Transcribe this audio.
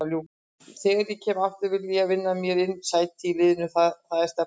Þegar ég kem aftur vil ég vinna mér inn sæti í liðnu, það er stefnan.